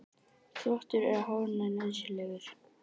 Þvottur er hárinu nauðsynlegur.